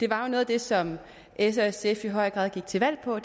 var noget af det som s og sf i høj grad gik til valg på